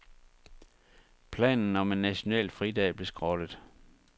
Planen om en national fridag blev skrottet.